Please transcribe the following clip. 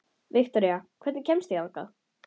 Viktoría, hvernig kemst ég þangað?